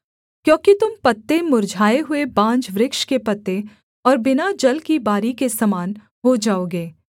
क्योंकि तुम पत्ते मुर्झाए हुए बांज वृक्ष के पत्ते और बिना जल की बारी के समान हो जाओगे